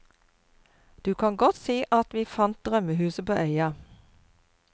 Du kan godt si at vi fant drømmehuset på øya.